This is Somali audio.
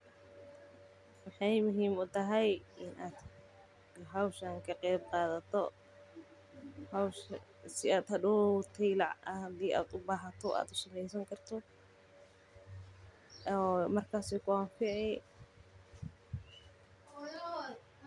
Maxaay muhiim utahay in aad howshan ka qeyb qaato si aad hadoow hadii aad ubahato.